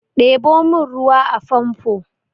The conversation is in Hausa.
Ɗebo min ruwan famfo!